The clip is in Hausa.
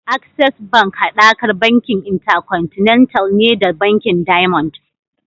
Access bank hadakar bankin Intercontinental ne da bankin Diamond.